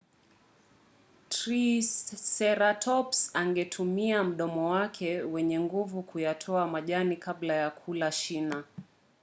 triseratops angeutumia mdomo wake wenye nguvu kuyatoa majani kabla ya kula shina